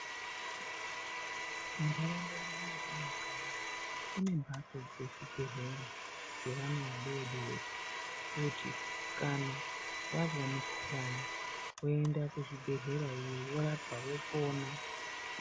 Muntaraunda mwedu mwatinogara mune mbatso dzezvibhedhlera dzevana vadodori kuti kana vazwa mukhuhlani voemda kuzvibhedhlera iyoyo vorapwa vopona.